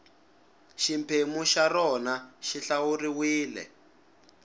xiphemu xa rona xi hlawuriwile